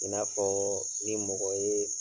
I n'a fɔɔ ni mɔgɔ yee